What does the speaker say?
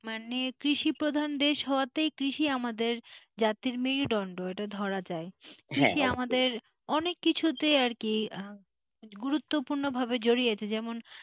মানে কৃষি প্রধান দেশ হওয়াতে মানে কৃষি আমাদের জাতির মেরুদন্ড এটা ধরা যায় কৃষি আমাদের অনেক কিছুতে আর কি গুরুত্বপূর্ণ ভাবে জড়িয়ে আছে যেমন,